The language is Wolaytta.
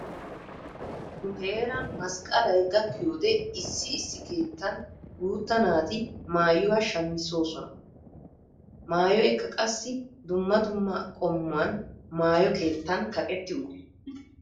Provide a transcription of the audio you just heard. Nu heeran masqqalayi gakkiyode issi issi keettan guutta naati maayuwa shamissoosona. Maayoykka qassi dumma dumma qommuwani maayo keettaan kaqettidi uttiis.